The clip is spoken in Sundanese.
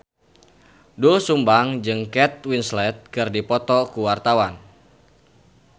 Doel Sumbang jeung Kate Winslet keur dipoto ku wartawan